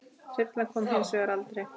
Þyrlan kom hins vegar aldrei.